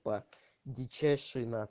па дичайше